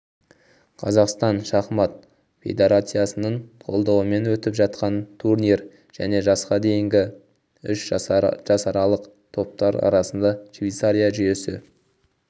қазақстан шахмат федерациясының қолдауымен өтіп жатқан турнир және жасқа дейінгі үш жасаралық топтар арасында щвейцария жүйесі